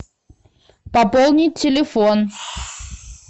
пополнить телефон